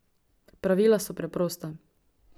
Pravila so preprosta.